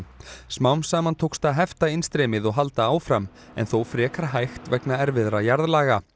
smám saman tókst að heftainnstreymið og halda áfram en þó frekar hægt vegna erfiðra jarðlaga